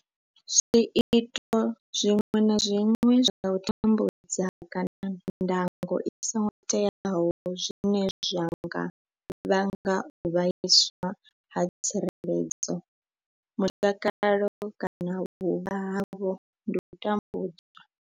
Zwiito zwiṅwe na zwiṅwe zwa u tambudza kana ndango i songo teaho zwine zwa nga vhanga u vhaiswa ha tsireledzo, mutakalo kana vhuvha havho ndi u tambudzwa.